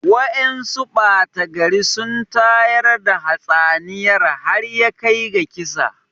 Wa'yansu ɓata gari sun tayar da hatsaniyar har yakai ga kisa